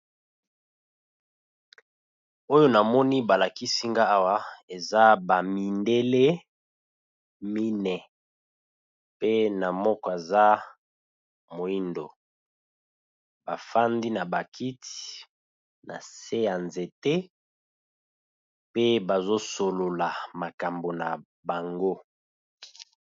Oyo namoni ba lakisi nga awa eza ba mindele mine, pe na moko aza moyindo ba fandi na ba kiti na se ya nzete pe bazo solola makambo na bango.